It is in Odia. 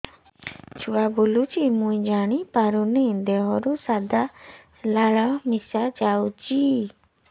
ଛୁଆ ବୁଲୁଚି ମୁଇ ଜାଣିପାରୁନି ଦେହରୁ ସାଧା ଲାଳ ମିଶା ଯାଉଚି